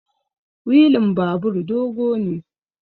wilin babur dogo ne